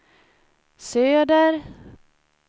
söder